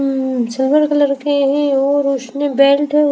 उम्म silver colour के हैं और उसने बेल्ट --